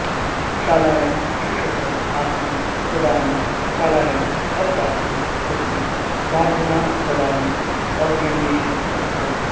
शालायां शिक्षकः आसीत् तदानीं सालायाम् अवकाशे सति साधनास्थलानि अन्विष्यति स्म